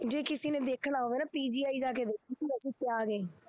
ਜੇ ਕਿਸੇ ਨੇ ਦੇਖਣਾ ਹੋਵੇ ਨਾ PGI ਜਾ ਕੇ ਵੇਖੇ